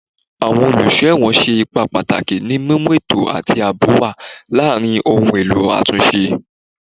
Awọn oluso ẹwọn ṣe ipa pataki ni mimu eto ati aabo wa laarin awọn ohun elo atunṣe